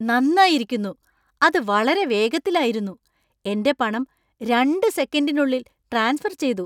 നന്നായിരിക്കുന്നു. അത് വളരെ വേഗത്തിലായിരുന്നു. എന്‍റെ പണം രണ്ട് സെക്കൻഡിനുള്ളിൽ ട്രാൻസ്ഫർ ചെയ്തു.